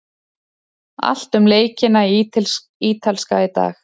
Allt um leikina í Ítalska í dag.